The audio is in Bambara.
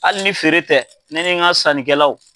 Hali ni feere tɛ, ne ni n ka sannikɛlaw,